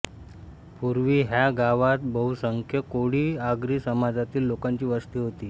पुर्वी ह्या गावात बहुस़़ंख्य कोळी आगरी समाजातील लोकांची वस्ती होती